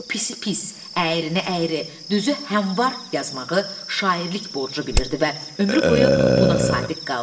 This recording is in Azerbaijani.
O pisi pis, əyirini əyri, düzü həm var yazmağı şairlik borcu bilirdi və ömrü boyu buna sadiq qaldı.